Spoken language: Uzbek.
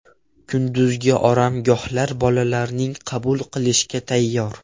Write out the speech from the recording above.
Kunduzgi oromgohlar bolalarni qabul qilishga tayyor.